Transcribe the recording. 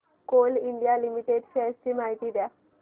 Coal India Limited shares ची माहिती द्या